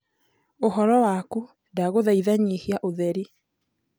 uhoro wakũ ndagũthaitha nyĩhĩa utherĩ